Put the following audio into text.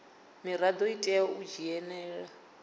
mirado i tea u dzhenela